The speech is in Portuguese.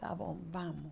Tá bom, vamos.